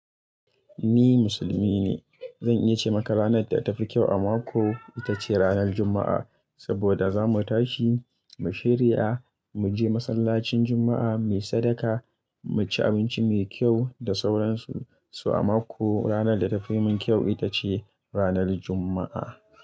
Ni musulmi ne. Zan iya ce maka ranar da ta fi kyau a mako, ita ce ranar Juma'a. Saboda za mu tashi, mu shirya, mu je masallacin Juma'a, mu yi sadaka, mu ci abinci mai kyau da sauransu. So a mako, ranar da ta fi min kyau ita ce ranar Juma'a.